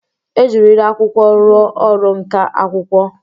E jirila akwụkwọ rụọ ọrụ nka akwụkwọ.